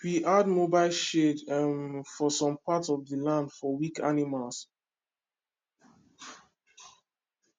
we add mobile shade um for some part of the land for weak animals